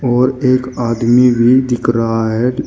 और एक आदमी भी दिख रहा है।